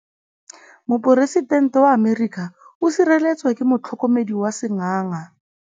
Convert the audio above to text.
Poresitêntê wa Amerika o sireletswa ke motlhokomedi wa sengaga.